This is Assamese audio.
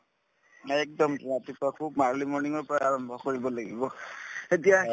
একদম ৰাতিপুৱা খুব early morning ৰ পৰাই আৰম্ভ কৰিব লাগিব তেতিয়া